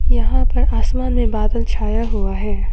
यहां पर आसमान में बादल छाया हुआ है।